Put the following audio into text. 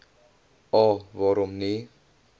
a waarom nie